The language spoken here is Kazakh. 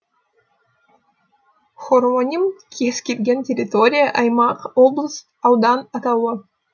хороним кез келген территория аймақ облыс аудан атауы